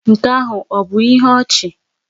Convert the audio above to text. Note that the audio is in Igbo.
Nke ahụ ọ̀ bụ ihe ọchị?